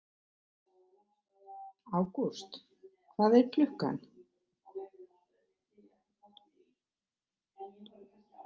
Ágúst, hvað er klukkan?